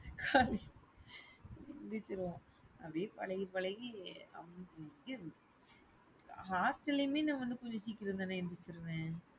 எந்திரிச்சிருவோம் அப்படியே பழகி பழகி hostel லயுமே நா வந்து கொஞ்ச சீக்கிரம்தானே எந்திரிச்சுருவேன்.